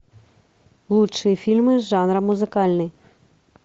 лучшие фильмы жанра музыкальный